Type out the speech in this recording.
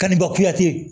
Kanni bakuya